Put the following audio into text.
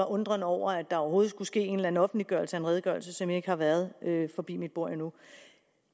undren over at der overhovedet skulle ske en eller anden offentliggørelse af en redegørelse som ikke har været forbi mit bord endnu